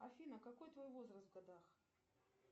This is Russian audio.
афина какой твой возраст в годах